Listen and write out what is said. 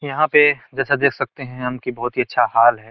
यहाँ पे जैसा देख सकते हैं हम की बोहत ही अच्छा हाल है।